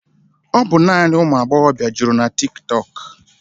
Ọ bụ naanị ụmụ agbọghọbịa juru na tiki tọọk.